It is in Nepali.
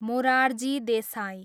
मोरारजी देसाई